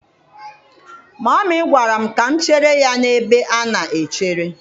Mummy gwara m ka m chere ya n'ebe a na-echere.